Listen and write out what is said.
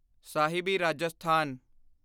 ਸਾਹਿਬੀ Rajasthan